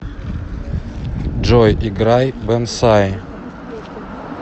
джой играй бонсай